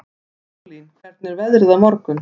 Sólín, hvernig er veðrið á morgun?